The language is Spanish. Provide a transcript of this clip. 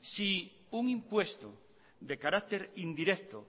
si un impuesto de carácter indirecto